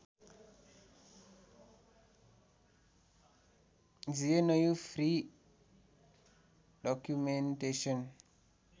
GNU free documentation